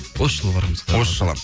осы жылы барамыз осы жылы